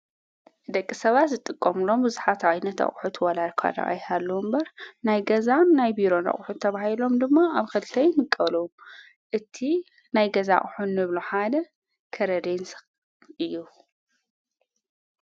ደቂ ሰባት ዝጥቆምሎም ብዙኃት ኣኣይነተቕሑት ወላይኳዳ ኣይሃለዉ እምበር ናይ ገዛን ናይ ቢሮን ረቝሑ ተብሂሎም ድማ ኣብ ኸልተይምቀሉ እቲ ናይ ገዛ ሕኑ ብሎ ሓደ ከረሬንስ እዩ።